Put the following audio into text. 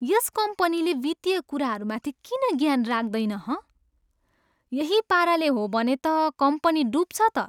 यस कम्पनीले वित्तीय कुराहरूमाथि किन ज्ञान राख्दैन, हँ? यही पाराले हो भने त कम्पनी डब्छ त।